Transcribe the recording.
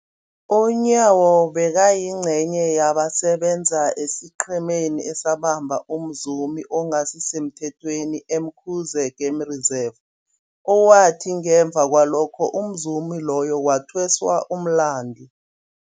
UNyawo bekayingcenye yabasebenza esiqhemeni esabamba umzumi ongasisemthethweni e-Umkhuze Game Reserve, owathi ngemva kwalokho umzumi loyo wathweswa umlandu.